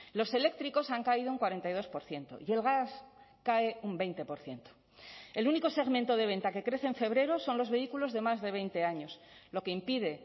los eléctricos han caído un cuarenta y dos por ciento y el gas cae un veinte por ciento el único segmento de venta que crece en febrero son los vehículos de más de veinte años lo que impide